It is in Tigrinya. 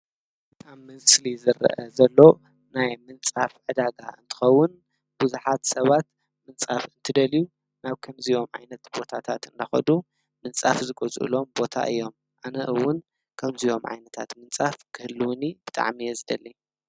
ኣብ ምስሊ ዝረአ ዘሎ ናይ ምንፃፍ ዕዳጋ እንትከውን ቡዙሓት ሰባት ምንፃፍ እንትደልዩ ናብ ከምዚኦም ዓይነት ቦታታት እንዳከዱ ምንፃፍ ዝገዝእሎም ቦታ እዮም፡፡ ኣነ እውን ከምዚኦም ዓይነታት ምንፃፍ ክህልወኒ ብጣዕሚ እየ ዝደሊ፡፡